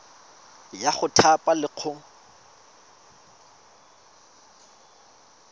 ya go thapa le go